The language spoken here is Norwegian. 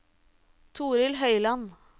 Torild Høiland